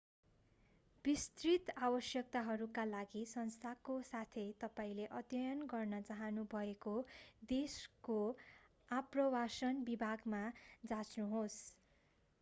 विस्तृत आवश्यकताहरूका लागि संस्थाको साथै तपाईंले अध्ययन गर्न चाहनुभएको देशको आप्रवासन विभागमा जाँच्नुहोस्